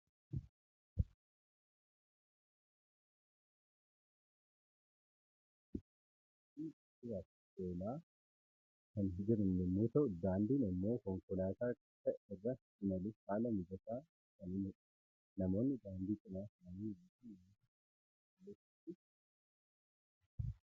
Suuraa kana irratti konkolaattota, namootaa fi daandii konkolaataa argina. Konkolaattotni geejjibaaf oolaa kan jiran yommuu ta'u, daandiin immoo konkolaataa akka irra imaluuf haala mijataa kan uumudha. Namoonni daandii cinaa taa'anii mul'atan namoota kophee qulqulleessanii fi qulqulleeffatanidha.